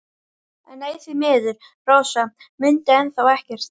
En nei, því miður, Rósa mundi enn þá ekkert.